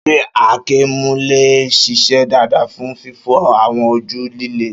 Ṣé àáké mú lè ṣiṣẹ́ dáadáa fún fífọ́ àwọn ojú líle?